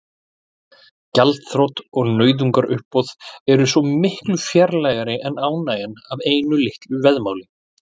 Gjaldþrot og nauðungaruppboð eru svo miklu fjarlægari en ánægjan af einu litlu veðmáli.